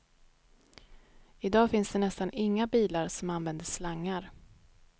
I dag finns det nästan inga bilar som använder slangar.